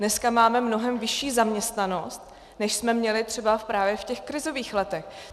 Dnes máme mnohem vyšší zaměstnanost, než jsme měli třeba právě v těch krizových letech.